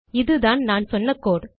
இதுதான் நான் சொன்ன கோடு